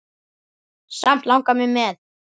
Samt langar mig með.